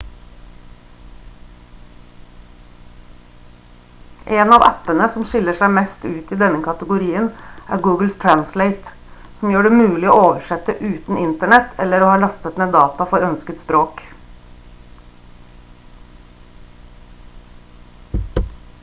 en av appene som skiller seg mest ut i denne kategorien er google translate som gjør det mulig å oversette uten internett etter å ha lastet ned data for ønsket språk